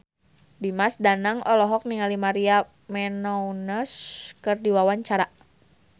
Dimas Danang olohok ningali Maria Menounos keur diwawancara